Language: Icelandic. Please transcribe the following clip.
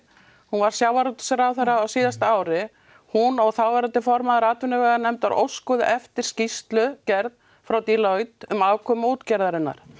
hún var sjávarútvegsráðherra á síðasta ári hún og þáverandi formaður atvinnuveganefndar óskuðu eftir skýrslugerð frá Deloitte um afkomu útgerðarinnar